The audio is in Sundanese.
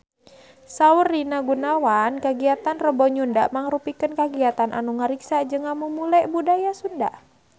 Saur Rina Gunawan kagiatan Rebo Nyunda mangrupikeun kagiatan anu ngariksa jeung ngamumule budaya Sunda